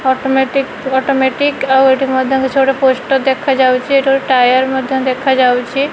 Automatic automatic ଆଉ ଏଠି ମଧ୍ୟ କିଛି ଗୋଟେ ପୋଷ୍ଟର ଦେଖା ଯାଉଛି ଏଠି ଗୋଟେ ଟାୟାର ମଧ୍ୟ ଦେଖା ଯାଉଛି।